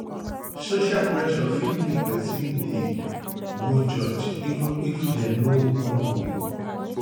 um social pressure fit make person dey um go church even if dem no wan go